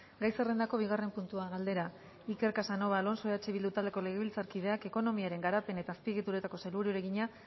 gai zerrendako bigarren puntua galdera iker casanova alonso eh bildu taldeko legebiltzarkideak ekonomiaren garapen eta azpiegituretako sailburuari egina